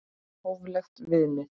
Hóflegt viðmið?